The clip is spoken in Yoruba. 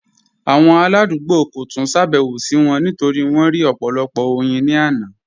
Awọn aladugbo kò túń ṣàbẹwò sí wọn nítorí wọn rí ọpọ̀lọpọ̀ oyin ni àná.